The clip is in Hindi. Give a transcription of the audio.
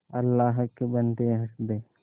अल्लाह के बन्दे हंस दे